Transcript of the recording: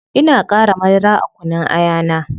Ina qara madara a kunun aya na